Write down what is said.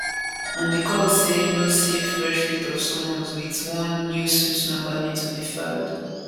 and di court say no say fresh writ of summons wit one new suit number need to dey filed